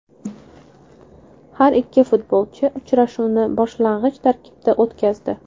Har ikki futbolchi uchrashuvni boshlang‘ich tarkibda o‘tkazdi.